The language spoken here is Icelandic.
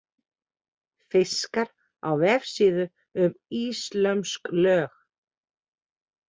Fiskar á vefsíðu um íslömsk lög.